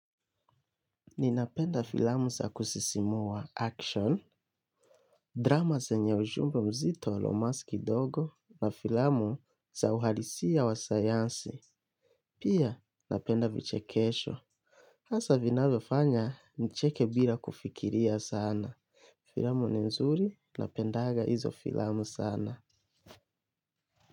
Ninapenda filamu za kusisimua, action. Drama zenye ujumbe mzito lumas kidogo na filamu sa uhalisia wa sayansi. Pia napenda vichekesho. Hasa vinavyofanya nicheke bila kufikiria sana. Filamu ni nzuri, napendaga izo filamu sana.